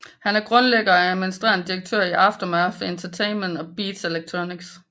Han er grundlægger og administrerende direktør for Aftermath Entertainment og Beats Electronics